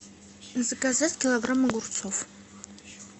заказать килограмм огурцов